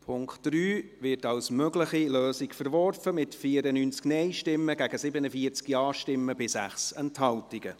Der Punkt 3 wird als mögliche Lösung verworfen, mit 94 Nein- gegen 47 Ja-Stimmen bei 6 Enthaltungen.